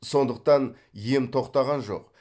сондықтан ем тоқтаған жоқ